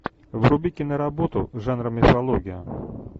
вруби киноработу жанра мифология